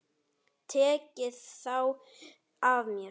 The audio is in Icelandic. Tekið þá af mér.